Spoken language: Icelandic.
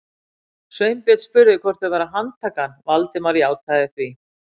Sveinbjörn spurði hvort þau væru að handtaka hann, Valdimar játaði því.